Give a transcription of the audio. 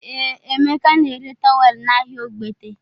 Ee, Emeka na-ere towel n'ahịa Ogbete